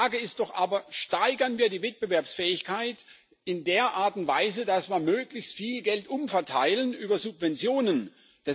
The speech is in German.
Die Frage ist doch aber Steigern wir die Wettbewerbsfähigkeit in der Art und Weise, dass wir möglichst viel Geld über Subventionen umverteilen?